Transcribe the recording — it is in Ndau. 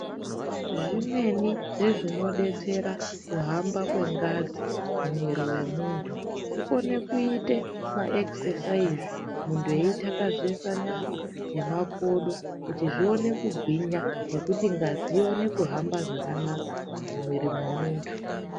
Zvimweni zvezvinodetsera kuhamba kwengazi mumwiri wemuntu kukona kuita maexesaizi muntu eithakazesa nyama nemakodo kuti zvione kugwinya nekuti ngazi ikone kuhamba zvakanaka mumwiri wemuntu.